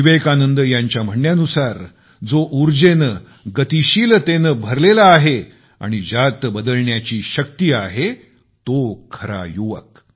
विवेकानंद यांच्या म्हणण्यानुसार जो उर्जेने आणि गतीशिलतेने भरलेला आहे आणि ज्यात बदलण्याची शक्ती आहे तो खरा युवक